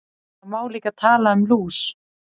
Það má líka tala um lús.